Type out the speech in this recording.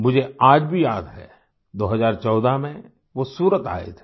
मुझे आज भी याद है 2014 में वो सूरत आए थे